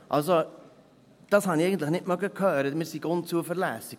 Dass wir unzuverlässig seien, das mochte ich eigentlich nicht hören.